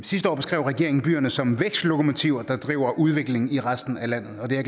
sidste år beskrev regeringen byerne som vækstlokomotiver der driver udviklingen i resten af landet det er